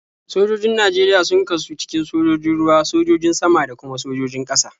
Sojojin Najeriya sun kasu cikin sojojin ruwa, sojojin sama, da kuma sojojin ƙasa.